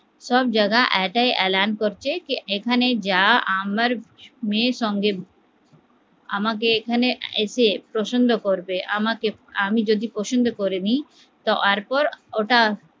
সবজাগা একাই এলান করছে যে এখানে যা আমার মেয়ের সঙ্গে আমাকে এখানে এসে প্রসন্ন করবে, আমাকে আমি যদি প্রসন্ন করে নেই তার পর